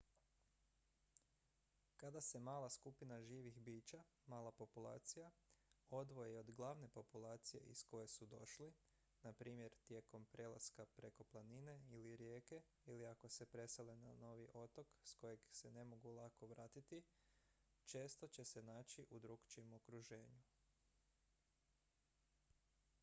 kada se mala skupina živih bića mala populacija odvoji od glavne populacije iz koje su došli na primjer tijekom prelaska preko planine ili rijeke ili ako se presele na novi otok s kojeg se ne mogu lako vratiti često će se naći u drukčijem okruženju